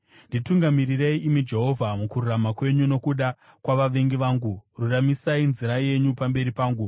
Nditungamirirei, imi Jehovha, mukururama kwenyu nokuda kwavavengi vangu, ruramisai nzira yenyu pamberi pangu.